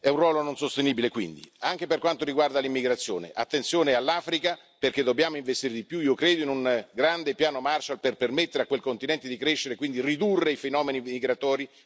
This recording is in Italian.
Anche per quanto riguarda l'immigrazione, attenzione all'Africa perché dobbiamo investire di più, io credo, in un grande piano Marshall per permettere a quel continente di crescere e quindi ridurre i fenomeni migratori verso l'Europa.